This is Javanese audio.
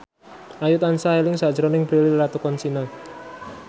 Ayu tansah eling sakjroning Prilly Latuconsina